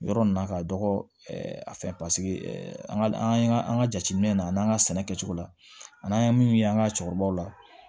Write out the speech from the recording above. Yɔrɔ nin na ka dɔgɔ a fɛn paseke an ka an ka an ka jateminɛ na an n'an ka sɛnɛ kɛcogo la an n'an ye min ye an ka cɛkɔrɔbaw la